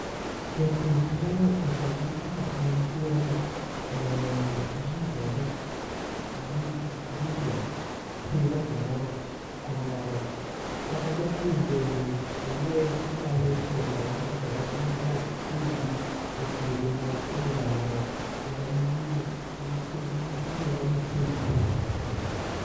Japur nyalo usogi kaka gintiere no ne jii to dhi ,jii to tedo kumoro kata japur bende owuon onyalo tiyo kodgi kaka entie no ma opidhgi e puodho ma odwaro kendo gin, iluongo gi ni seedling